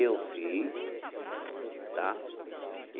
Eu fiz, tá?